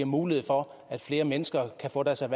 mulighed for at flere mennesker kan få deres